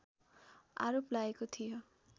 आरोप लागेको थियो